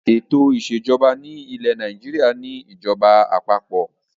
Ètò ìṣèjọba ilẹ̀ Nàìjíríà ni ìjọba àpapọ̀.